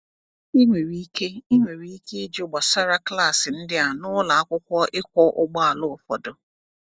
Ị nwere ike Ị nwere ike ịjụ gbasara klaasị ndị a n’ụlọ akwụkwọ ịkwọ ụgbọala ụfọdụ.